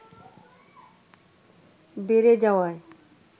বেড়ে যাওয়ায়